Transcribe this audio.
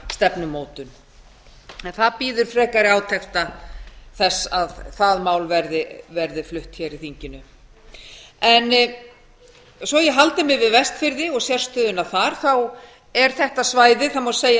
stefnumótun en það bíður frekari átekta þess að það mál verði flutt hér í þinginu svo að ég haldi mig við vestfirði og sérstöðuna þar er þetta svæði það má segja